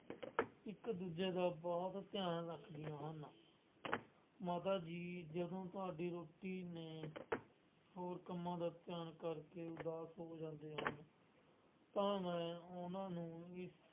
ਇੱਕ ਦੂਜੇ ਦਾ ਬਹੁਤ ਧਿਆਨ ਰੱਖਦੀਆਂ ਹਨ। ਮਾਤਾ ਜੀ ਜਦੋਂ ਤੁਹਾਡੀ ਰੁਚੀ ਨੇ ਹੋਰ ਕੰਮਾਂ ਦਾ ਧਿਆਨ ਕਰਕੇ ਉਦਾਸ ਹੋ ਜਾਂਦੇ ਹਨ। ਤਾਂ ਮੈਂ ਉਹਨਾ ਨੂੰ ਇਸ